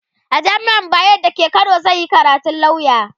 a jamian bayero da ke Kano zanyi karatun lauya